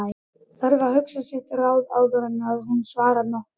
Þarf að hugsa sitt ráð áður en hún svarar nokkru.